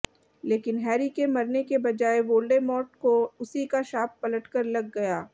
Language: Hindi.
लेकिन हैरी के मरने के बजाय वोल्डेमॉर्ट को उसी का शाप पलट कर लग गया